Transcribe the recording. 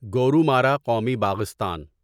گورومارا قومی باغستان